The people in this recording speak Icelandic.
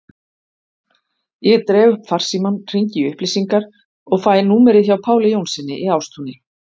Ég dreg upp farsímann, hringi í upplýsingar og fæ númerið hjá Páli Jónssyni í Ástúni.